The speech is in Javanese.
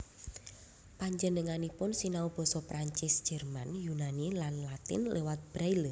Penjenenganipun sinau basa Prancis Jerman Yunani lan Latin liwat braille